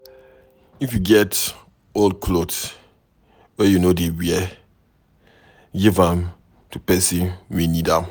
If you get old cloth wey you no dey wear, give am to pesin wey need am.